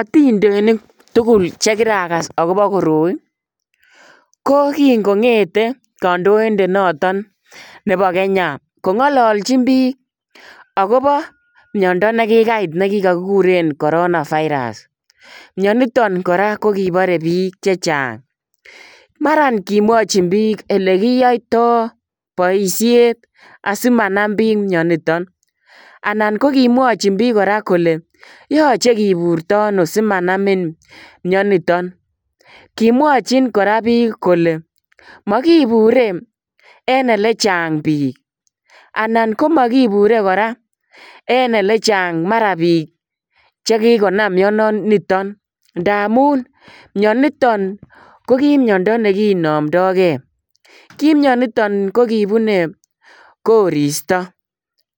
Atindeniik tugul che kiragas agobo koroi ko kiit ko ngethei kandoindet notoon nebo [Kenya] kongalalchiin biik agobo miando nekikait nekigureen [coronavirus] miani nitoon kora ko kibaree biik chechaang maraan kimwachiin biik ole kinyaitaa boisiet asimanam biik miani nitoon anan ko kimwachiin biik kora kole yachei kiburyo ano simanamii. Miani nitoon kimwachiin kora biik kole magiibure en ole chaang biik anan ko magiibure en ole chaang mara biik che kikonaam mianotoon ndamuun mianotoon ko ki miando nekinamdai gei kiit mianiitoon ko kibunee koristoi